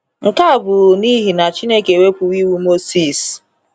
Nke a bụ n’ihi na Chineke ewepụwo Iwu Mosis.